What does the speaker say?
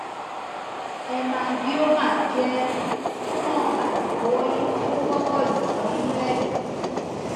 hemangioma jẹ tumọ aifọwọyi ti o wọpọ julọ ninu ẹdọ